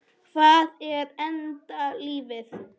Hvað er enda lífið?